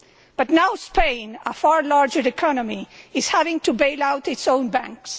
But now Spain, a far larger economy, is having to bail out its own banks.